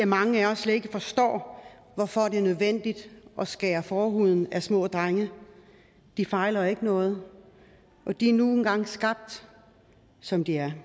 mange af os slet ikke forstår hvorfor det er nødvendigt at skære forhuden af små drenge de fejler jo ikke noget og de er nu engang skabt som de er